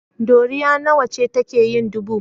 Ɗoriya nawa ce take yin dubu?